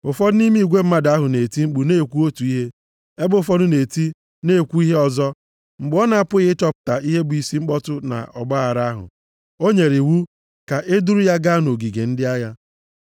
Ụfọdụ nʼime igwe mmadụ ahụ na-eti mkpu na-ekwu otu ihe, ebe ụfọdụ na-eti na-ekwu ihe ọzọ. Mgbe ọ na-apụghị ịchọpụta ihe bụ isi mkpọtụ na ọgbaaghara ahụ, o nyere iwu ka e duru ya gaa nʼogige ndị agha.